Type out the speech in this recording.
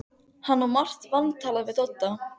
Hann á margt vantalað við Dodda.